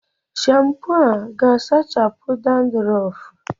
Shampo a ga-asachapu Dandurofu?